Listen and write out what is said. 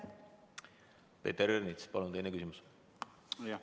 Peeter Ernits, palun, teine küsimus!